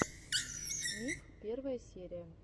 миф первая серия